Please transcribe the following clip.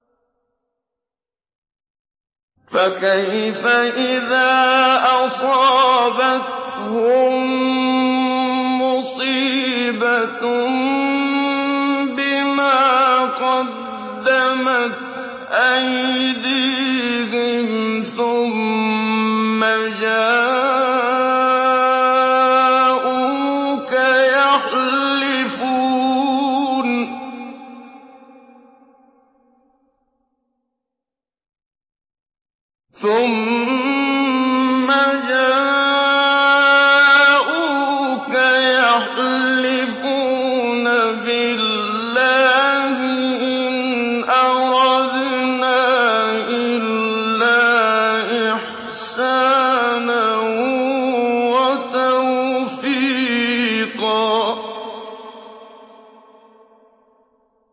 فَكَيْفَ إِذَا أَصَابَتْهُم مُّصِيبَةٌ بِمَا قَدَّمَتْ أَيْدِيهِمْ ثُمَّ جَاءُوكَ يَحْلِفُونَ بِاللَّهِ إِنْ أَرَدْنَا إِلَّا إِحْسَانًا وَتَوْفِيقًا